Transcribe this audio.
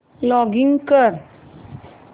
login कर